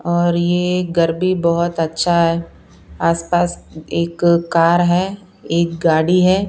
और ये घर भी बहुत अच्छा है आसपास एक कार है एक गाड़ी है।